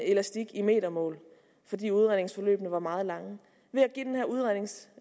elastik i metermål fordi udredningsforløbene var meget lange ved